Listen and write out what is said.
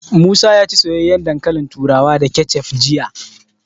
Musa ya ci soyayyen dankalin turawa da kecef jiya.